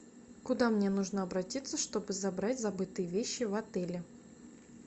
куда мне нужно обратиться чтобы забрать забытые вещи в отеле